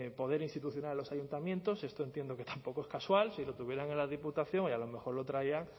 poder institucional en los ayuntamientos esto entiendo que tampoco es casual si lo tuvieran en la diputación y a lo mejor lo traían